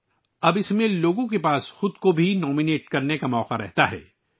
یہاں تک کہ اب لوگوں کے پاس خود کو نامزد کرنے کا بھی موقع ہے